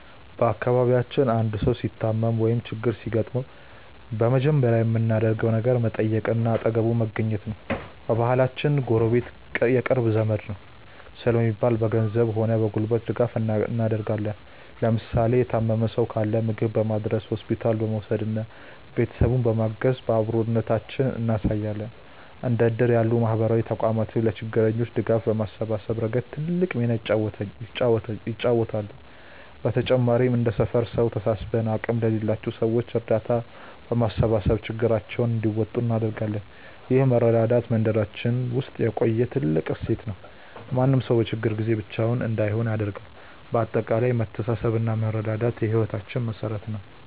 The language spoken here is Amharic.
በአካባቢያችን አንድ ሰው ሲታመም ወይም ችግር ሲገጥመው በመጀመሪያ የምናደርገው ነገር መጠየቅና አጠገቡ መገኘት ነው። በባህላችን "ጎረቤት የቅርብ ዘመድ ነው" ስለሚባል፣ በገንዘብም ሆነ በጉልበት ድጋፍ እናደርጋለን። ለምሳሌ የታመመ ሰው ካለ ምግብ በማድረስ፣ ሆስፒታል በመውሰድና ቤተሰቡን በማገዝ አብሮነታችንን እናሳያለን። እንደ እድር ያሉ ማህበራዊ ተቋማትም ለችግረኞች ድጋፍ በማሰባሰብ ረገድ ትልቅ ሚና ይጫወታሉ። በተጨማሪም እንደ ሰፈር ሰው ተሰባስበን አቅም ለሌላቸው ሰዎች እርዳታ በማሰባሰብ ችግራቸውን እንዲወጡ እናደርጋለን። ይህ መረዳዳት በመንደራችን ውስጥ የቆየ ትልቅ እሴት ሲሆን፣ ማንም ሰው በችግር ጊዜ ብቻውን እንዳይሆን ያደርጋል። በአጠቃላይ መተሳሰብና መረዳዳት የህይወታችን መሠረት ነው።